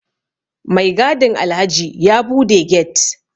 Mai gadin Alhaji ya bude get